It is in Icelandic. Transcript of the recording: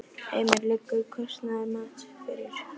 Heimir: Liggur kostnaðarmat fyrir?